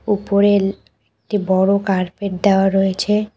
উপরেল একটি বড় কার্পেট দেওয়া রয়েছে।